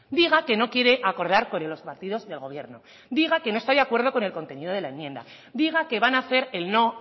diga que no quiere acordar con los partidos del gobierno diga que no está de acuerdo con el contenido de la enmienda diga que van a hacer el no